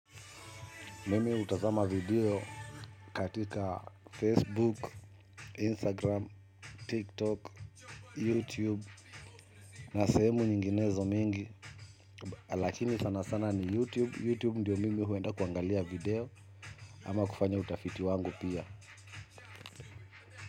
Mimi hutazama video katika Facebook, Instagram, TikTok, YouTube na sehemu nyinginezo mingi. Lakini sana sana ni YouTube, YouTube ndio mimi huenda kuangalia video ama kufanya utafiti wangu pia.